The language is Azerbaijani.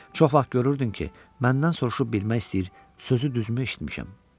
Çox vaxt görürdüm ki, məndən soruşub bilmək istəyir, sözü düzmü eşitmişəm?